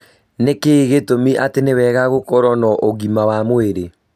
Nĩkĩĩ gĩtumi atĩ nĩwega gũkorũo na ũgima wa mwĩrĩ